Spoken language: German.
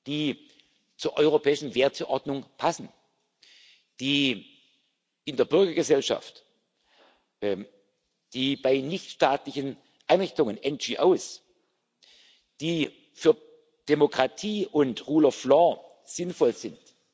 finanzieren die zur europäischen Werteordnung passen, die in der Bürgergesellschaft, die bei nichtstaatlichen Einrichtungen, die für Demokratie und Rechtsstaatlichkeit sinnvoll